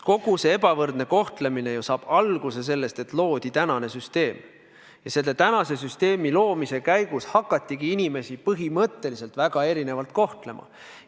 Kogu see ebavõrdne kohtlemine ju saab alguse sellest, et loodi praegune süsteem, selle süsteemi loomisega hakatigi inimesi põhimõtteliselt väga erinevalt kohtlema.